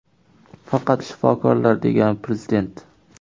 Faqat shifokorlar”, degan Prezident.